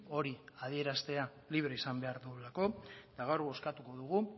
hori adieraztea libre izan behar duelako eta gaur bozkatuko dugu